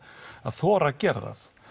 að þora að gera það